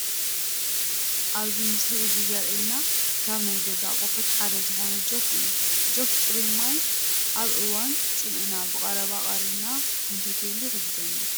ኣብዚ ምስሊ እዚ ዘሪኤና ካብ ናይ ገዛ ኣቕሑት ሓደ ዝኾነ ጆክ እዩ፡፡ ጆክ ፁሩይ ማይ ኣብ እዋን ፃምእና ብቀረባ ቀሪብና ክንሰትየሉ ይሕግዘና፡፡